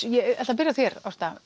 ég ætla að byrja á þér